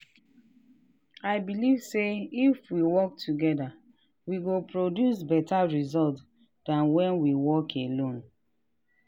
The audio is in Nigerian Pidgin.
i believe say if we work toggther we go produce better result than when we work alone.